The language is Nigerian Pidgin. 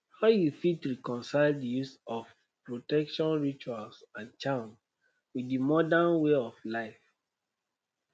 how you fit reconcile di use of protection rituals and charms with di modern way of life?